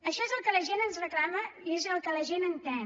això és el que la gent ens reclama i és el que la gent entén